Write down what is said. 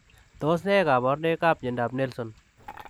Tos ne kabarunoik ap miandap Nelson?